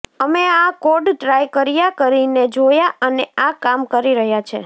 અમે આ code try કર્યા કરીને જોયા અને આ કામ કરી રહ્યા છે